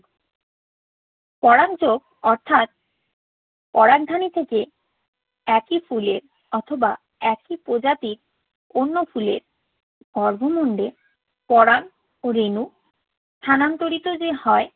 পরাগ যোগ অর্থাৎ পরাগধানী থেকে একই ফুলের অথবা একই প্রজাতির অন্য ফুলের গর্ভমুণ্ডে পরাগরেণু স্থানান্তরিত যে হয়